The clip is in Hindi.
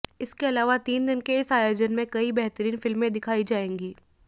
इसके अलावा तीन दिन के इस आयोजन में कई बेहतरीन फिल्में दिखाई जाएंगी